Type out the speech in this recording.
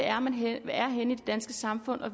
danske samfund og